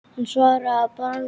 Hann svaraði að bragði.